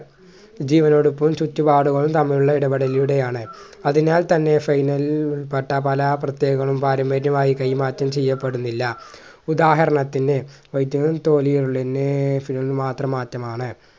ജീവനോടപ്പം ചുറ്റുപാടുകളും തമ്മിലുള്ള ഇടപെടലിടെയാണ് അതിനാൽ തന്നെ ഉൾപ്പെട്ട പല പ്രത്യേകതകളും പാരമ്പര്യമായി കൈമാറ്റം ചെയ്യപ്പെടുന്നില്ല ഉദാഹരണത്തിന് മാത്രമാറ്റമാണ്